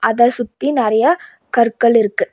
அத சுத்தி நெறையா கற்கள் இருக்கு.